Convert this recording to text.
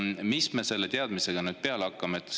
Mis me selle teadmisega peale hakkame?